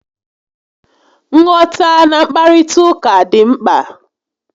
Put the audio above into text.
Nghọtana nkparịta ụka dị mkpa